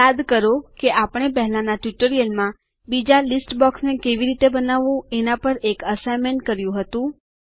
યાદ કરો કે આપણે પહેલાંના ટ્યુટોરીયલમાં બીજા લીસ્ટ બોક્સને કેવી રીતે બનાવવું એના પર એક અસાઈનમેંટ કર્યું હતું